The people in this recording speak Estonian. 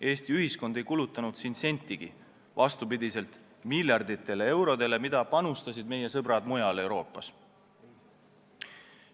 Eesti ühiskond ei kulutanud selleks sentigi, vastupidi miljarditele eurodele, mida panustasid meie sõbrad mujal Euroopas.